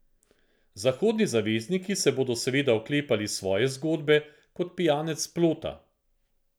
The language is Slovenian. Zahodni zavezniki se bodo seveda oklepali svoje zgodbe kot pijanec plota.